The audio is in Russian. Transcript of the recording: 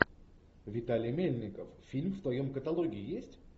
виталий мельников фильм в твоем каталоге есть